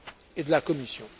et de la Commission.